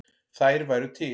Þær væru til.